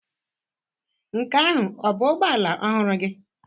Nke ahụ ọ bụ ụgbọ ala ọhụrụ gị?